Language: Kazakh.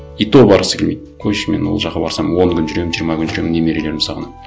и то барғысы келмейді қойшы мен ол жаққа барсам он күн жүремін жиырма күн жүремін немерелерімді сағынамын